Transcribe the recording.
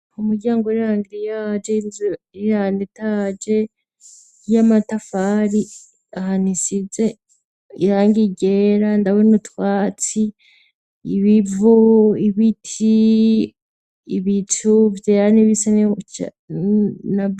Umuryango uri angiriyaje, inzu iri anetaje, y'amatafari ahantu isize irangi ryera, ndabona utwatsi, ibivu, ibiti, ibicu vyera n'ibisa n'icatsi.